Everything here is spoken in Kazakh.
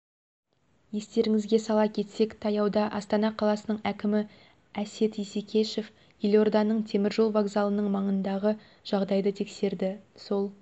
естеріңізге сала кетсек таяуда астана қаласының әкімі әсет исекешев елорданың теміржол вокзалының маңындағы жағдайды тексерді сол